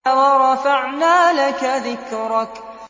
وَرَفَعْنَا لَكَ ذِكْرَكَ